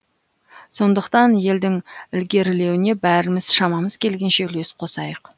сондықтан елдің ілгерілеуіне бәріміз шамамыз келгенше үлес қосайық